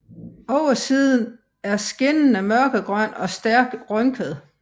Oversiden er skinnende mørkegrøn og stærkt rynket